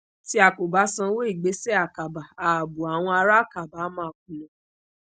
ti a ko ba sanwo igbese akaba aabo awọn ara akaba a maa kuna